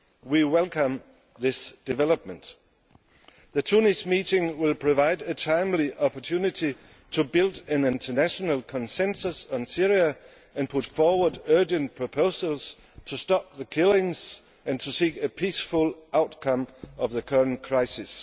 We welcome this development. The Tunis meeting will provide a timely opportunity to build an international consensus on Syria and put forward urgent proposals to stop the killings and to seek a peaceful outcome to the current crisis.